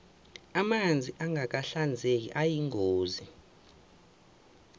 amanzi angaka hinzeki ayagulise